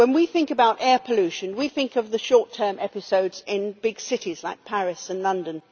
When we think about air pollution, we think of the short term episodes in big cities like Paris and London.